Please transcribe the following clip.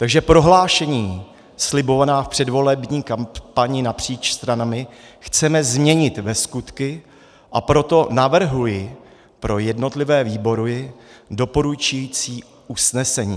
Takže prohlášení slibovaná v předvolební kampani napříč stranami chceme změnit ve skutky, a proto navrhuji pro jednotlivé výbory doporučující usnesení.